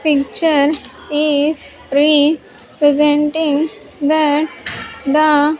Picture is re-presenting that the --